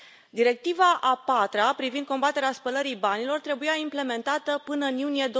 Directiva a patra privind combaterea spălării banilor trebuia implementată până în iunie